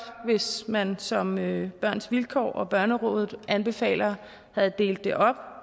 hvis man som børns vilkår og børnerådet anbefaler havde delt det op